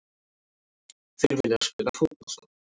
Þeir vilja spila fótbolta.